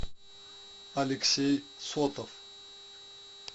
алексей сотов